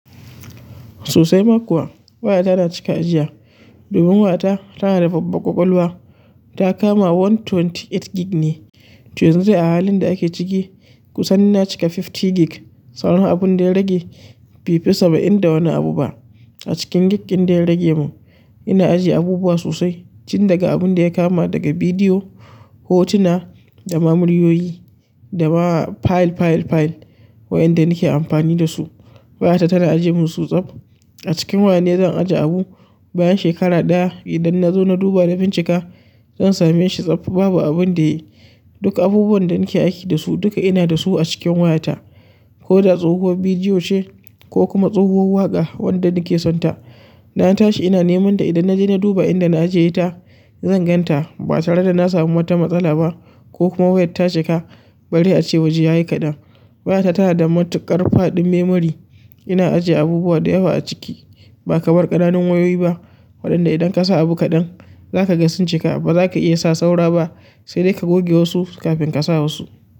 Sosai ma kuwa waya tana cika ajiya. Domin waya ta, tana da babban ƙwaƙwalwa. Ta kama ɗari da ashirin da takwas gig ne. To yanzu a halin da ake ciki, kusan na cika hamsin gig. Sauran abun da ya rage befi saba'in da wani abu bai saba'i nda wani abu ba. A cikin gig ɗin da ya rage mu, ina ajiye abubuwa sosai. Cin daga abun da ya kama daga bidiyo, hotuna, da ma muryoyi, da ma file, file, file wayanda nake amfani da su. Waya ta tana ajiye mun su tsab. Acikin wayan ne zan ajiye abu bayan shekara ɗaya idan na zo na duba na bin cika, zan same shi tsab, babu abun da ya yi. Duk abubuwan da nake aiki da su, duka ina da su a cikin waya ta. Koda tsohuwar bidiyo ce ko kuma tsohuwar waƙa wanda nake son ta dana tashi ina nemanta idan naje na duba inda na ajiyeta zanganta ba tare da na samu wata matsala ba ko kuma wayar ta cika bare a ce waje ya yi kaɗan. Waya ta tana da matuƙar faɗin memory. Ina ajiye abubuwa da yawa a ciki. Ba kamar ƙananan wayoyi ba, waɗanda idan ka sa abu kaɗan, za ka ga sun cika ba za ka iya sa saura ba sai dai ka goge wasu kafin ka sa wasu.